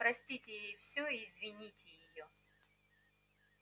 простите ей всё и извините её